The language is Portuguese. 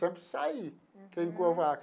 Sempre saí.